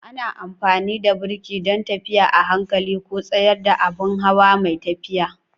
Ana amfani da birki don tafiya a hankali ko tsayar da abin hawa mai tafiya.